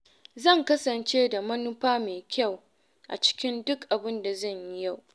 Zan kasance da manufa mai kyau a cikin duk abin da zan yi yau.